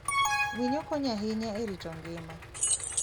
Winyo konyo ahinya e rito ngima.